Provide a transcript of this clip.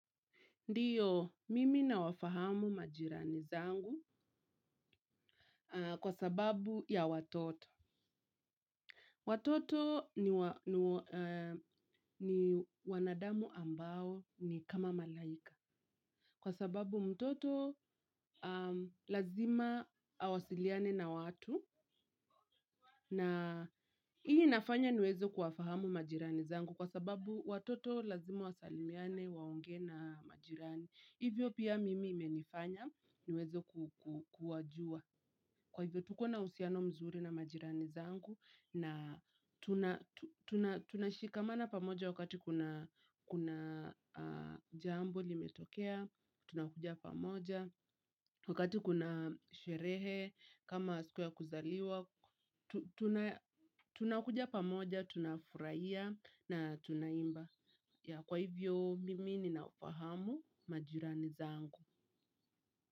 Ndiyo, mimi nawafahamu majirani zangu kwa sababu ya watoto. Watoto ni wanadamu ambao ni kama malaika. Kwa sababu mtoto lazima awasiliane na watu. Na hii inafanya niweze kuwafahamu majirani zangu kwa sababu watoto lazima wasalimiane waongee na majirani. Hivyo pia mimi imenifanya niweze kuwajua. Kwa hivyo tuko na uhusiano mzuri na majirani zangu na tunashikamana pamoja wakati kuna jambo limetokea, tunakuja pamoja. Wakati kuna sherehe, kama siku ya kuzaliwa, tunakuja pamoja, tunafurahia na tunaimba. Kwa hivyo, mimi ninawafahamu majirani zangu.